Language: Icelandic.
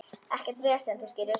Ekkert vesen, þú skilur.